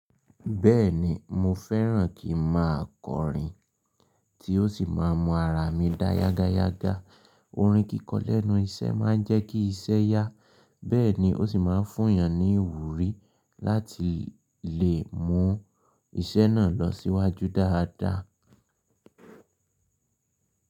Bẹ́ẹ̀ni mo fẹ́ràn kí n má a kọrin tí ó sì má a n mu ara mi dá yágáyágá. Orin kíkọ lẹ́nu iṣẹ́ má a ń jẹ́ kí iṣẹ́ yá, bẹ́ẹ̀ ni o sì má a n fún eeyàn ní ìwúrí láti lè mu iṣẹ́ náà lọ síwájú dáadáa.